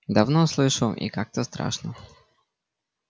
давно слышу и как-то страшно